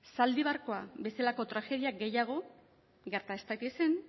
zaldibarko bezalako tragedia gehiago gerta ez daitezen